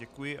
Děkuji.